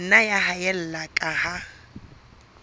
nna ya haella ka ha